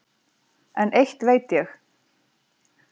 En eitt veit ég